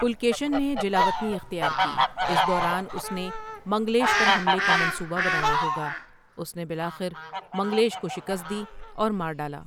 پُلکیشن نے جلاوطنی اختیار کی، اس دوران اس نے منگلیش پر حملے کا منصوبہ بنایا ہوگا، اس نے بالآخر منگلیش کو شکست دی اور مار ڈالا۔